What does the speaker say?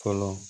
Fɔlɔ